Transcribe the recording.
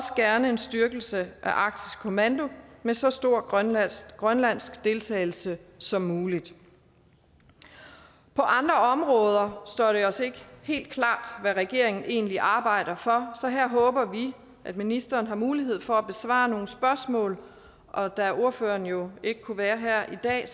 gerne en styrkelse af arktisk kommando med så stor grønlandsk grønlandsk deltagelse som muligt på andre står det os ikke helt klart hvad regeringen egentlig arbejder for så her håber vi at ministeren har mulighed for at besvare nogle spørgsmål og da ordføreren jo ikke kunne være her i dag